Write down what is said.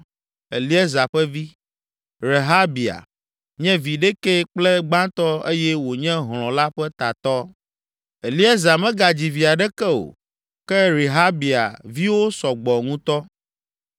Eliezer ƒe vi: Rehabia nye vi ɖekɛ kple gbãtɔ eye wònye hlɔ̃ la ƒe tatɔ. (Eliezer megadzi vi aɖeke o, ke Rehabia viwo sɔ gbɔ ŋutɔ.)